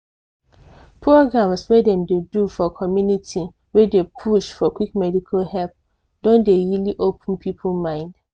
programs wey dem dey do for community wey dey push for quick medical help don dey really open people mind.